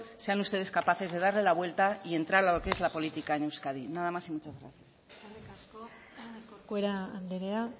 sean ustedes capaces de darle la vuelta y entrar a lo que es la política en euskadi nada más y muchas gracias eskerrik asko corcuera anderea